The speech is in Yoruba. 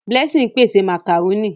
Blessing n pèsè macaroni.